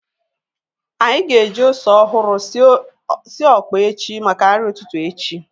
Anyị ga-eji ose ọhụrụ sie ọkpa echi maka nri ụtụtụ echi